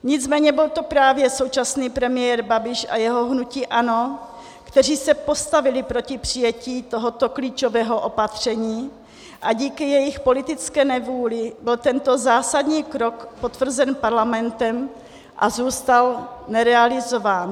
Nicméně byl to právě současný premiér Babiš a jeho hnutí ANO, kteří se postavili proti přijetí tohoto klíčového opatření, a díky jejich politické nevůli byl tento zásadní krok potvrzen Parlamentem a zůstal nerealizován.